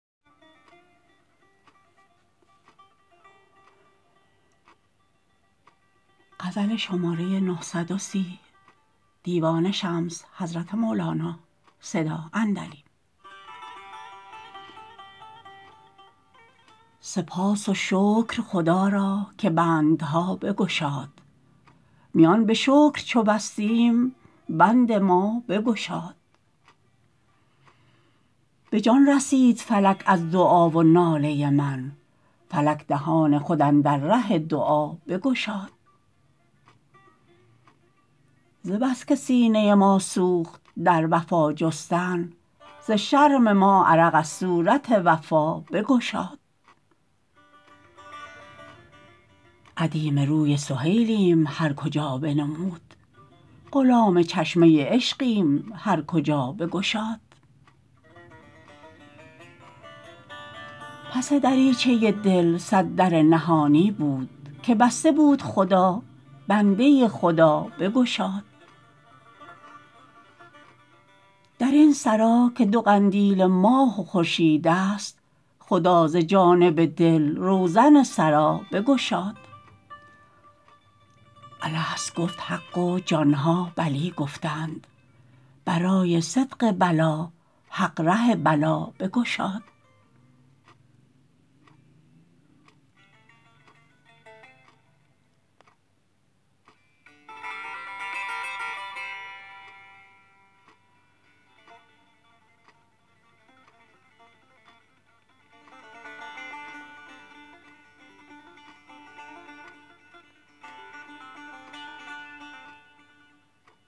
سپاس و شکر خدا را که بندها بگشاد میان به شکر چو بستیم بند ما بگشاد به جان رسید فلک از دعا و ناله من فلک دهان خود اندر ره دعا بگشاد ز بس که سینه ما سوخت در وفا جستن ز شرم ما عرق از صورت وفا بگشاد ادیم روی سهیلیم هر کجا بنمود غلام چشمه عشقیم هر کجا بگشاد پس دریچه دل صد در نهانی بود که بسته بود خدا بنده خدا بگشاد در این سرا که دو قندیل ماه و خورشیدست خدا ز جانب دل روزن سرا بگشاد الست گفت حق و جان ها بلی گفتند برای صدق بلی حق ره بلا بگشاد